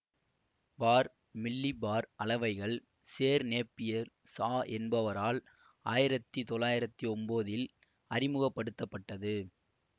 பார் millibar அளவைகள் sir Napier Shaw என்பவரால் ஆயிரத்தி தொள்ளாயிரத்தி ஒன்போதில் அறிமுக படுத்த பட்டது